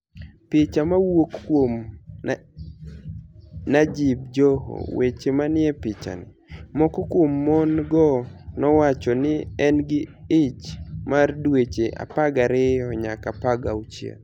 Picha mowuok kuom niajib Joho weche maniie pichanii, moko kuom moni-go nowacho nii ni e gini gi ich mar dweche 12 niyaka 16.